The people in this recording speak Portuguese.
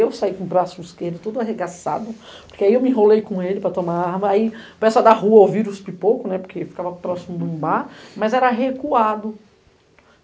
Eu saí com o braço esquerdo tudo arregaçado, porque aí eu me enrolei com ele para tomar arma, aí para essa da rua ouvir os pipoco, né, porque ficava próximo de um bar, mas era recuado.